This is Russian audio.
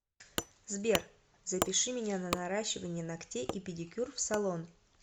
сбер запиши меня на наращивание ногтей и педикюр в салон